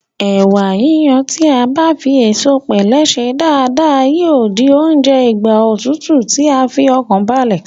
Ẹ̀wà yíyon tí a bá fi ẹ̀sọ̀pẹ̀lẹ́ sè é dáadáa yíò di oúnjẹ ìgbà òtútù tí ń fi ọkàn balẹ̀